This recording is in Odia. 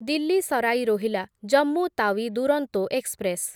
ଦିଲ୍ଲୀ ସରାଇ ରୋହିଲା ଜମ୍ମୁ ତାୱି ଦୁରନ୍ତୋ ଏକ୍ସପ୍ରେସ୍